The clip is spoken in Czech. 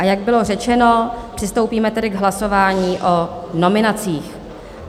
A jak bylo řečeno, přistoupíme tedy k hlasování o nominacích.